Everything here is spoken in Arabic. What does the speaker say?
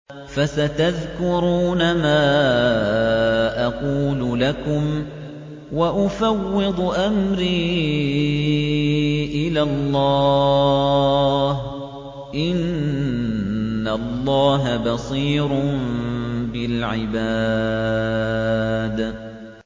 فَسَتَذْكُرُونَ مَا أَقُولُ لَكُمْ ۚ وَأُفَوِّضُ أَمْرِي إِلَى اللَّهِ ۚ إِنَّ اللَّهَ بَصِيرٌ بِالْعِبَادِ